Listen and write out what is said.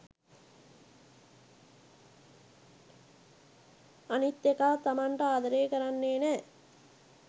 අනිත් එකා තමන්ට අදරේ කරන්නෙ නෑ